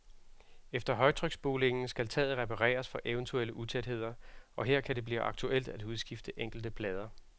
Efter højtryksspulingen skal taget repareres for eventuelle utætheder, og her kan det blive aktuelt at udskifte enkelte plader.